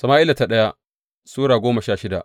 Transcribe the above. daya Sama’ila Sura goma sha shida